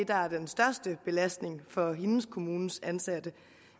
der er den største belastning for hendes kommunes ansatte